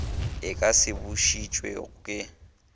e ka se bušetšwe go